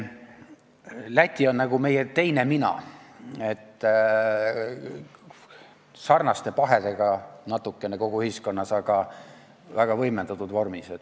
Läti on nagu meie teine mina, kogu ühiskond on sarnaste pahedega, aga väga võimendatud vormis.